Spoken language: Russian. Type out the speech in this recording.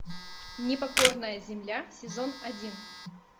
непокорная земля сезон один